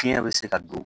Fiɲɛ bɛ se ka don